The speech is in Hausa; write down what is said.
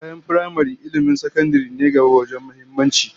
Bayan firamare, ilmin sakandaren ne gaba wajen muhimmanci